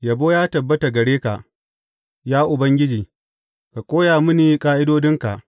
Yabo ya tabbata gare ka, ya Ubangiji; ka koya mini ƙa’idodinka.